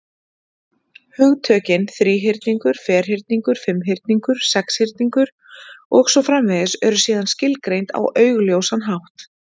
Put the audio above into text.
Hugtökin þríhyrningur, ferhyrningur, fimmhyrningur, sexhyrningur, og svo framvegis, eru síðan skilgreind á augljósan hátt.